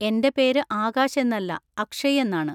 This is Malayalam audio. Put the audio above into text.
എന്റെ പേര് ആകാശ് എന്നല്ല, അക്ഷയ് എന്നാണ്.